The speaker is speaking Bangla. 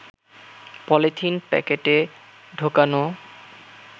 পলিথিন প্যাকেটে ঢোকানো